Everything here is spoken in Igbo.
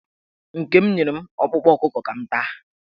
Nke m nyere m ọkpụkpụ ọkụkọ ka m taa.